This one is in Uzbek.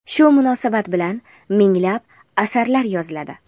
shu munosabat bilan minglab asarlar yoziladi.